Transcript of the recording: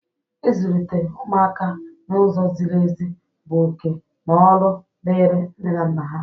Izulite ụmụaka n'ụzọ zịrị ezi bụ oke na ọlụ dịri nne na nna ha.